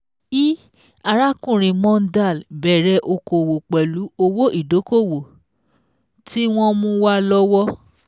i Arákùnrin Mondal bẹ̀rẹ̀ okòwò pẹ̀lú owó ìdókóòwò tí wọ́n mú wá lówó